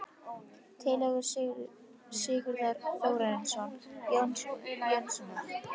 Tillögur Sigurðar Þórarinssonar og Jóns Jónssonar